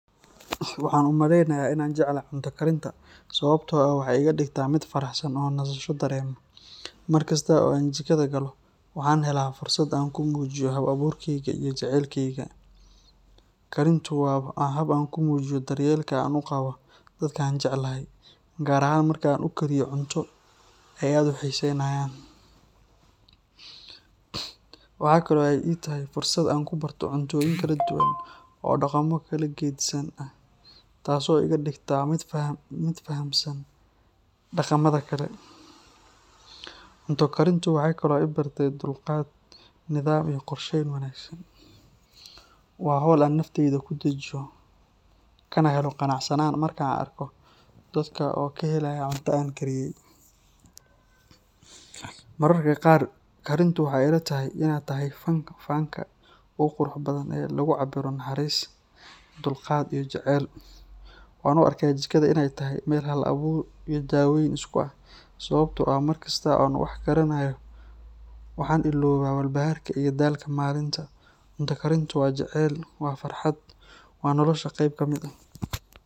Waxaan u maleynayaa in aan jeclahay cunto karinta sababtoo ah waxay iga dhigtaa mid faraxsan oo nasasho dareema. Markasta oo aan jikada galo, waxaan helaa fursad aan ku muujiyo hal-abuurkeyga iyo jacaylkayga. Karintu waa hab aan ku muujiyo daryeelka aan u qabo dadka aan jecelahay, gaar ahaan marka aan u kariyo cunto ay aad u xiiseynayaan. Waxa kale oo ay ii tahay fursad aan ku barto cuntooyin kala duwan oo dhaqamo kala geddisan ah, taas oo iga dhigta mid fahamsan dhaqamada kale. Cunto karintu waxay kaloo i bartay dulqaad, nidaam iyo qorsheyn wanaagsan. Waa hawl aan nafteyda ku dejiyo, kana helo qanacsanaan marka aan arko dadka oo ka helaya cuntada aan kariyay. Mararka qaar, karintu waxay ila tahay in ay tahay fanka ugu quruxda badan ee lagu cabbiro naxariis, dulqaad, iyo jacayl. Waxaan u arkaa jikada in ay tahay meel hal-abuur iyo daaweyn isku ah, sababtoo ah markasta oo aan wax karinayo, waxaan iloobaa walbahaarka iyo daalka maalinta. Cunto karintu waa jacayl, waa farxad, waa nolosha qayb ka mid ah.